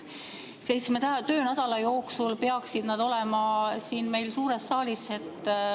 Seitsme töönädala jooksul peaksid nad siia suurde saali.